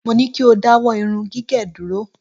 Mo ní kí o dáwọ́ irún gigẹ̀ dúró.